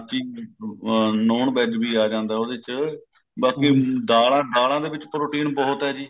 ਆਪਣਾ ਇਸ ਤੋਂ ਬਾਅਦ non veg ਵੀ ਆ ਜਾਂਦਾ ਉਹਦੇ ਚ ਬਾਕੀ ਦਾਲਾਂ ਦਾਲਾਂ ਦੇ ਵਿੱਚ protein ਬਹੁਤ ਹੈ ਜੀ